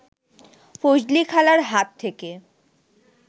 ফজলিখালার হাত থেকে